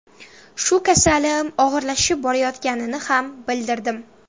Shu kasalim og‘irlashib borayotganini ham bildirdim.